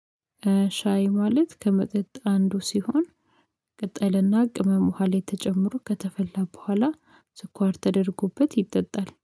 ሻይ ማለት ከመጠጥ አንዱ ሲሆን ቅጠልና ቅመም ውሃ ላይ ተጨምሮ ከተፈላ ቦኋላ። ስኳር ተደርጎበት ይጠጣል